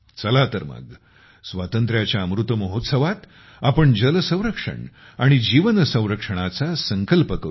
चला तर मग स्वातंत्र्याच्या अमृत महोत्सवात आपण जल संरक्षण आणि जीवन संरक्षणाचा संकल्प करू या